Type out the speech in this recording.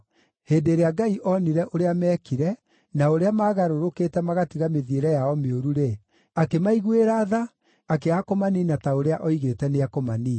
Hĩndĩ ĩrĩa Ngai onire ũrĩa meekire, na ũrĩa maagarũrũkĩte magatiga mĩthiĩre yao mĩũru-rĩ, akĩmaiguĩra tha akĩaga kũmaniina ta ũrĩa oigĩte nĩekũmaniina.